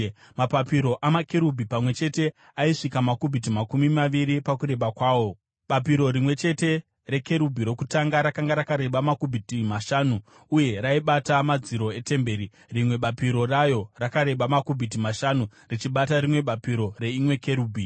Mapapiro amakerubhi pamwe chete aisvika makubhiti makumi maviri pakureba kwawo. Bapiro rimwe chete rekerubhi rokutanga rakanga rakareba makubhiti mashanu uye raibata madziro etemberi, rimwe bapiro rayo rakareba makubhiti mashanu richibata rimwe bapiro reimwe kerubhi.